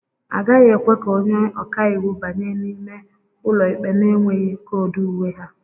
A gaghị ekwe ka onye ọka iwu banye n'ime ụlọ ikpe na-enweghị koodu uwe ha